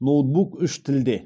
ноутбук үш тілде